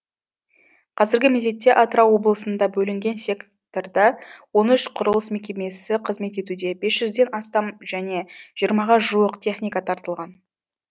қазіргі мезетте атырау облысында бөлінген секторда он үш құрылыс мекемесі қызмет етуде бес жүзден астам және жиырмаға жуық техника тартылған